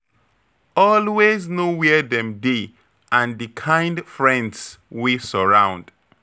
Always know where dem dey and the kind friends wey surround.